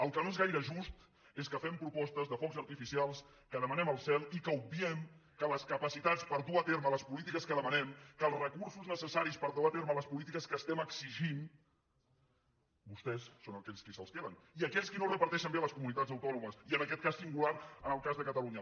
el que no és gaire just és que fem propostes de focs artificials que demanem al cel i que obviem que les capacitats per dur a terme les polítiques que demanem que els recursos necessaris per dur a terme les polítiques que estem exigint vostès són aquells qui se’ls queden i aquells qui no els reparteixen bé a les comunitats autònomes i en aquest cas singular en el cas de catalunya